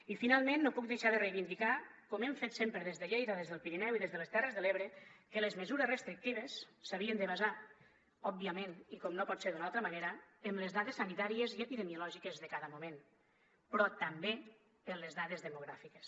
i finalment no puc deixar de reivindicar com hem fet sempre des de lleida des del pirineu i des de les terres de l’ebre que les mesures restrictives s’havien de basar òbviament i com no pot ser d’una altra manera en les dades sanitàries i epidemiològiques de cada moment però també en les dades demogràfiques